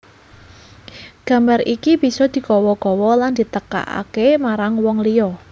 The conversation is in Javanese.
Gambar iki bisa digawa gawa lan ditekakaké marang wong liya